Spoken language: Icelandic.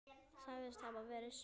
Sagðist hafa verið svöng.